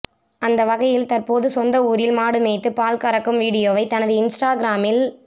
அந்தவகையில் தற்போது சொந்த ஊரில் மாடு மேய்த்து பால் கறக்கும் வீடியோவை தனது இன்ஸ்டாகிராமில்